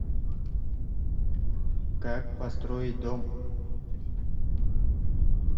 как построить дом